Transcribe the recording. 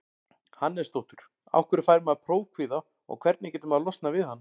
Hannesdóttur Af hverju fær maður prófkvíða og hvernig getur maður losnað við hann?